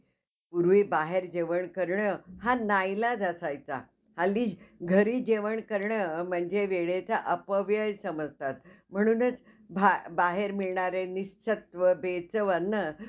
अं मी ती serial बघितली नाहीये, पण अं मला बघायला आवडंल ती serial तुम्ही सांगितलं तसं. त्यातले character आणि acting अह खूप छान आहेत. तर अह आणखी पण बऱ्याच हिंदी serial आहेत आणि हिंदी show आहेत, जेपण